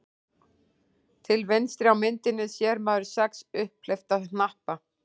Til vinstri á myndinni sér maður sex upphleypta hnappa.